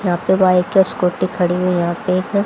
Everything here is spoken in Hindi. यहां पे बाइक या स्कूटी खड़ी है यहां पे एक--